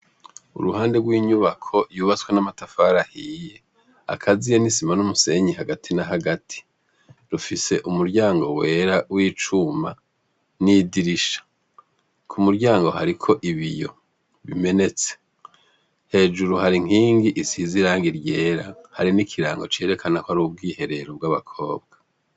Uruhande rw'inyubako yubatse n'amatafari ahiye, akaziye n'isima n'umusenyi hagati na hagati, rufise umuryango wera w'icuma n'idirisha. Ku muryango hariko ibiyo bimenetse. Hejuru hari inkingi isize irangi ryera. Hari n'ikirango cerekana ko ari ubwiherero bw'abakobwa.